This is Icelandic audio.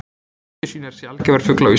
Keldusvín er sjaldgæfur fugl á Íslandi